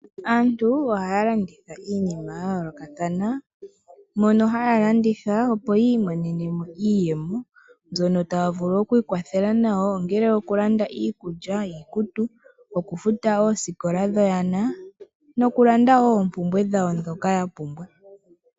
Aantu ohaya landitha iinima yayoolokathana mono haya landitha opo yiimonene mo iiyemo mbyono taya vulu okwiikwathela nayo ongele okulanda iikulya, iikutu, okufuta oosikola dhoyana nokulanda woo oompumbwe dhawo ndhoka yapumbwa.